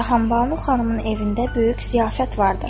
Cahanbanu xanımın evində böyük ziyafət vardır.